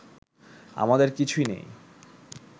আমাদের কিছু নেই